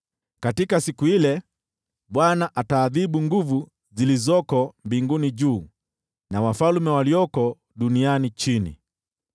Katika siku ile Bwana ataadhibu nguvu zilizoko mbinguni juu, na wafalme walioko duniani chini.